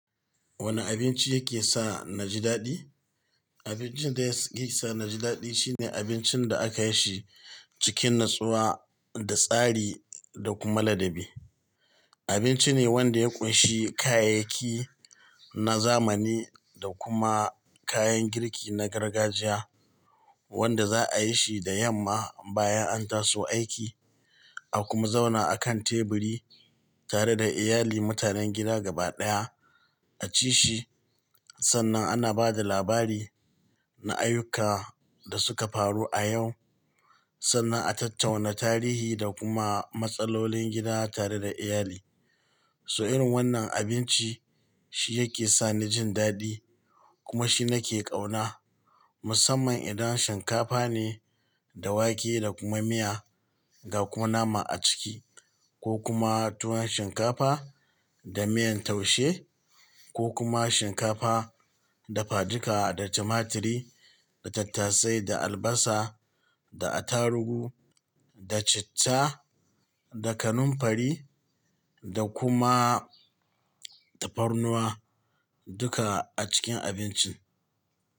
Wane abinci yake sa naji daɗi? Abincin da yake sa naji daɗi shine abincin da aka yi shi cikin natsuwa da tsari da kuma ladabi. Abinci ne wanda ya ƙunshi kayayyaki na zamani da kuma kayan girki na gargajiya wanda za'a yi shi da yamma bayan an taso aiki, a kuma zauna a kan teburi tare da iyali mutanen gida gabaɗaya a ci shi. Sannan ana ba da labari na ayyuka da suka faru a yau, sannan a tattauna tarihi da kuma matsalolin gida tare da iyali. So irin wannan abinci shi yake sani jin daɗi kuma shi nake kauna, musamman idan shinkafa ne da wake da kuma miya ga kuma nama a ciki ko kuma tuwon shinkafa da miyan taushe ko kuma shinkafa da fadika da tumaturi da tattasai da albasa da attaruhu da citta da kanamfari da kuma tafarnuwa duka a cikin abincin.